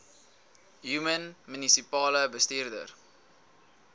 human munisipale bestuurder